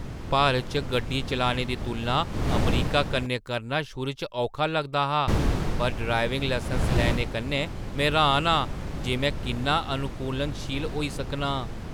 भारत च गड्डी चलाने दी तुलना अमरीका कन्नै करना शुरू च औखा लगदा हा, पर ड्राइविंग लैसन लैने कन्नै, में र्‌हान आं जे में किन्ना अनुकूलनशील होई सकनां!